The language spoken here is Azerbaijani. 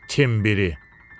İtim biri.